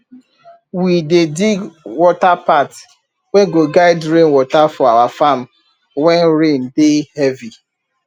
to do irrigation for dry season depend on diesel price and if water go dey.